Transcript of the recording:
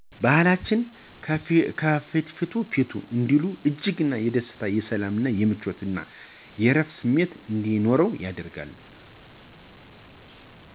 በባህላችን "ከፍትፍቱ ፊቱ " እንዲሉ እጅግ የደስታ :የሰላም :የምቾት እና እረፍት ስሜት እንዲኖር ያደርጋል።